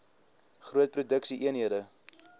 groot produksie eenhede